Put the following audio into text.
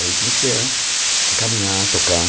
Aí comecei a a caminhar, tocar.